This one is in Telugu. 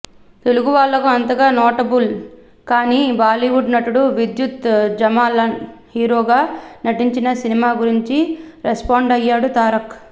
తెలుగు వాళ్లకు అంతగా నోటబుల్ కాని బాలీవుడ్ నటుడు విద్యుత్ జమాల్ హీరోగా నటించిన సినిమా గురించి రెస్పాండయ్యాడు తారక్